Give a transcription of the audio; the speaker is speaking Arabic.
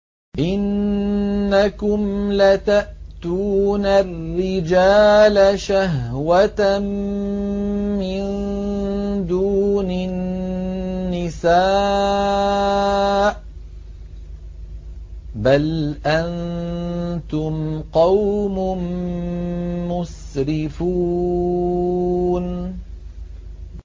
إِنَّكُمْ لَتَأْتُونَ الرِّجَالَ شَهْوَةً مِّن دُونِ النِّسَاءِ ۚ بَلْ أَنتُمْ قَوْمٌ مُّسْرِفُونَ